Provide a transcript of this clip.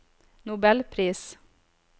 nobelpris